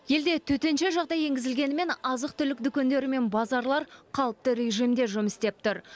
елде төтенше жағдай енгізілгенімен азық түлік дүкендері мен базарлар қалыпты режимде жұмыс істеп тұр